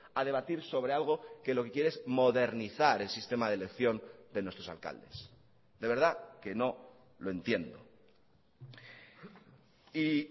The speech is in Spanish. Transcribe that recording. a debatir sobre algo que lo que quiere es modernizar el sistema de elección de nuestros alcaldes de verdad que no lo entiendo y